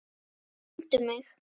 Sko, finndu mig.